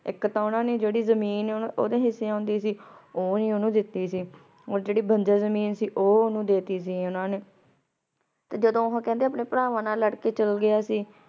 ਏਇਕ ਤਾਂ ਓਨਾਂ ਨੇ ਜੇਰੀ ਜ਼ਮੀਨ ਓਦੇ ਹਿਸੇ ਆਉਂਦੀ ਸੀ ਊ ਨਾਈ ਓਹਨੁ ਦਿਤੀ ਸੀ ਓਰ ਜੇਰੀ ਬੰਜਰ ਜ਼ਮੀਨ ਸੀ ਊ ਓਨਾਂ ਨੂ ਦੇ ਟੀ ਸੀ ਓਨਾਂ ਨੇ ਤੇ ਜਦੋਂ ਓਹੋ ਕੇਹ੍ਨ੍ਡੇ ਅਪਨੇ ਪ੍ਰਵਾਨ ਨਾਲ ਲਾਰ ਕੇ ਚਲਾ ਅਗ੍ਗਾਯਾ ਸੀ